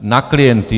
Na klienty.